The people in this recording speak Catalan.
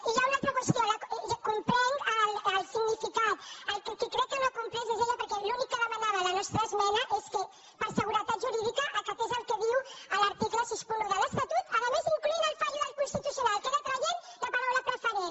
i hi ha una altra qüestió en comprenc el significat el qui crec que no l’ha comprès és ella perquè l’únic que demanava la nostra esmena és que per seguretat jurídica acatés el que diu l’article seixanta un de l’estatut a més incloent hi la decisió del constitucional que era traient ne la paraula preferent